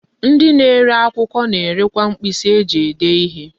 Ndi na-ere akwukwo na-erekwa mkpisi eji ede ihe.